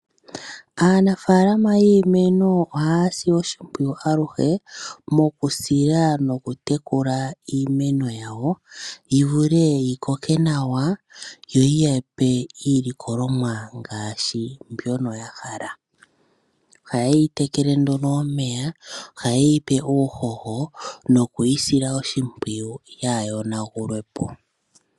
Aanafaalama yiimeno ohaya si oshimpwiyu aluhe mokusila nokutekula iimeno yawo yivule yikoke nawa yo yi yape iilikolomwa ngaashi mbyono yahala. Oha ye yi tekele nduno omeya, oha ye yi pe uuhoho nokuyisila oshimpwiyu yaayonagulwe po.